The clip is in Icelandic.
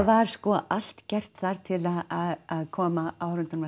var sko allt gert þar til að koma áhorfendum